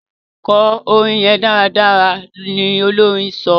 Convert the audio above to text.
kò orin yén dáradára! ní Olorin sọ.